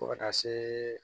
Fo ka taa se